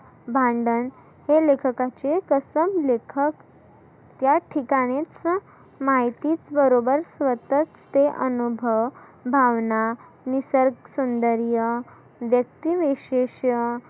भांडन हे लेखकाचे कसम लेखक त्या ठिकाणीचं माहिती बरोबर स्वतःच ते अनुभव भावना निसर्ग सौदर्य व्यक्ती विशेष